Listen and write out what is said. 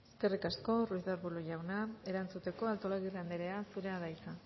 eskerrik asko ruiz de arbulo jauna erantzuteko artolazabal anderea zurea da hitza